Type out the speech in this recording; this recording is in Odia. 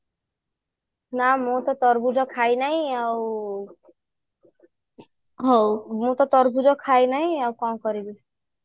ନା ମୁଁ ତ ତରଭୁଜ ଖାଇ ନାହିଁ ଆଉ ହଉ ମୁଁ ତ ତରଭୁଜ ଖାଇ ନାହିଁ ଆଉ କଣ କରିବି